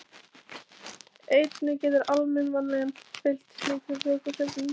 Einnig getur almenn vanlíðan fylgt slíkri vökvasöfnun.